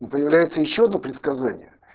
но появляется ещё одно предсказание